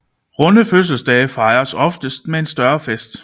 Runde fødselsdage fejres ofte med en større fest